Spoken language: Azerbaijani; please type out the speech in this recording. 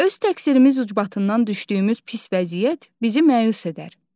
Öz təqsirimiz ucbatından düşdüyümüz pis vəziyyət bizi məyus edər.